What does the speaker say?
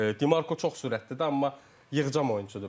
Dimarko çox sürətlidir, amma yığcam oyunçudur.